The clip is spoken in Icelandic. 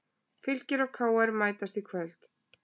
Fylkir og KR mætast í kvöld